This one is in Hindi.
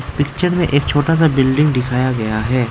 पिक्चर में एक छोटा सा बिल्डिंग दिखाया गया है।